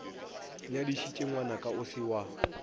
nyadišitše ngwanaka o se wa